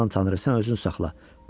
Aman Tanrım sən özünü saxla.